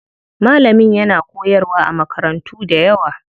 Malamin yana koyarwa a makarantu dayawa.